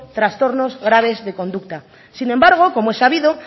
trastornos graves de conducta sin embargo como es sabido